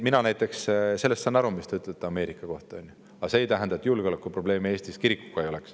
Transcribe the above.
Mina näiteks sellest saan aru, mis te ütlete Ameerika kohta, aga see ei tähenda, et julgeolekuprobleemi Eestis kirikuga ei oleks.